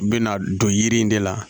U bɛna don yiri in de la